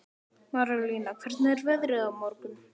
Marólína, hvernig er veðrið á morgun?